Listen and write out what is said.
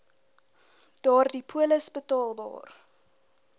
daardie polis betaalbaar